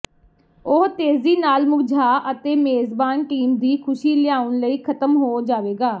ਉਹ ਤੇਜ਼ੀ ਨਾਲ ਮੁਰਝਾ ਅਤੇ ਮੇਜ਼ਬਾਨ ਟੀਮ ਦੀ ਖੁਸ਼ੀ ਲਿਆਉਣ ਲਈ ਖ਼ਤਮ ਹੋ ਜਾਵੇਗਾ